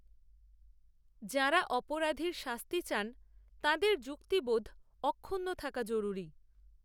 যাঁরা, অপরাধীর শাস্তি চান, তাঁদের যুক্তিবোধ, অক্ষুণ্ণ থাকা জরুরি